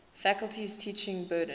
faculty's teaching burden